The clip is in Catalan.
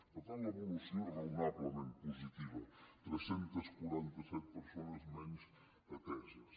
per tant l’evolució és raonablement positiva tres cents i quaranta set persones menys ateses